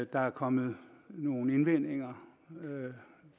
der er kommet nogle indvendinger